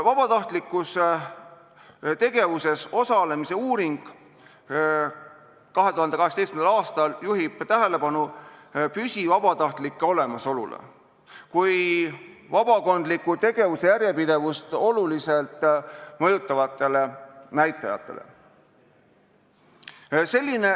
Vabatahtlikus tegevuses osalemise uuring, mis tehti 2018. aastal, juhib tähelepanu püsivabatahtlike olemasolule kui vabakondliku tegevuse järjepidevust oluliselt mõjutavale näitajale.